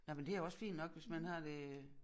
Nej men det jo også fint nok hvis man har det øh